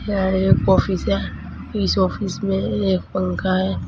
यहां एक आफिस है इस आफिस में एक पंखा है।